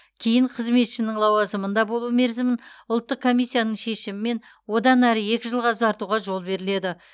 кейін қызметшінің лауазымында болу мерзімін ұлттық комиссияның шешімімен одан әрі екі жылға ұзартуға жол беріледі